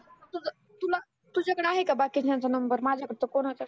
तुझ तुला तुझा कडं आहे का बाकीच्यांचा नंबर माझ्याकड तर कोणाचाच